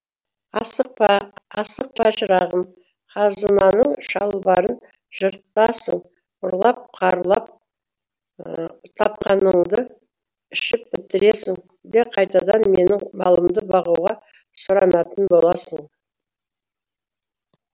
асықпа асықпа шырағым қазынаның шалбарын жыртасың ұрлап қарлап тапқаныңды ішіп бітіресің де қайтадан менің малымды бағуға сұранатын боласың